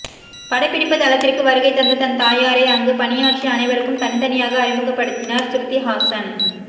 படப்பிடிப்பு தளத்திற்கு வருகை தந்த தன் தாயாரை அங்கு பணியாற்றிய அனைவருக்கும் தனித்தனியாக அறிமுகப்படுத்தினார் ஸ்ருதிஹாசன்